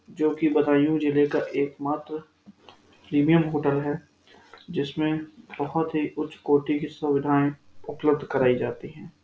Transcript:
जो कि बदायूं जिले का एक मात्र प्रीमियम होटल है जिसमें बहुत ही उच्च कोटी की सुविधाएं उपलब्ध कराई जाती है।